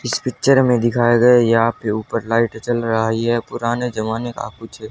इस पिक्चर में दिखाया गया यहां पे ऊपर लाइट जल रहा है यह पुराने जमाने का कुछ--